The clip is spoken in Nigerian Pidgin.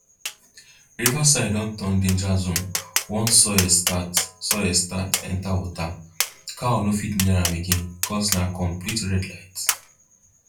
river side don turn danger zone once soil start soil start enter water cow no fit near am again cause na complete red light